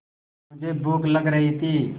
मुझे भूख लग रही थी